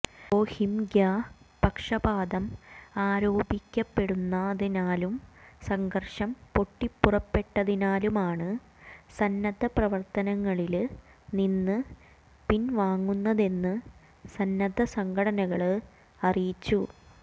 റോഹിംഗ്യ പക്ഷപാതം ആരോപിക്കപ്പെടുന്നതിനാലും സംഘര്ഷം പൊട്ടിപ്പുറപ്പെട്ടതിനാലുമാണ് സന്നദ്ധ പ്രവര്ത്തനങ്ങളില് നിന്ന് പിന്വാങ്ങുന്നതെന്ന് സന്നദ്ധ സംഘടനകള് അറിയിച്ചു